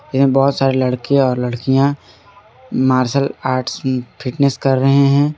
यह बहुत सारे लड़के और लड़कियां मार्शल आर्ट्स फिटनेस कर रहे हैं।